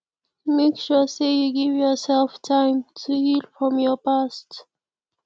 make sure say you give yourself time to heal from your past